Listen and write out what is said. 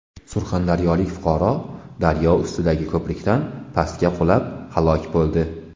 Surxondaryolik fuqaro daryo ustidagi ko‘prikdan pastga qulab, halok bo‘ldi.